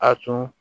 A tun